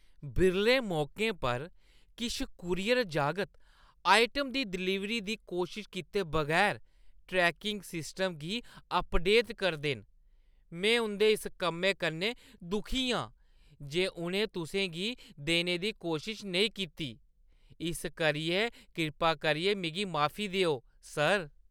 बिरले मौकें पर, किश कूरियर जागत आइटम दी डलीवरी दी कोशश कीते बगैर ट्रैकिंग सिस्टम गी अपडेट करदे न। में उंʼदे इस कम्मै कन्नै दुखी आं जे उʼनें तुसें गी देने दी कोशश नेईं कीती, इस करियै कृपा करियै मिगी माफ, सर।